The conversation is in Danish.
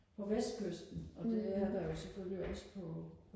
på vestkysten og det er der jo selvfølgelig også på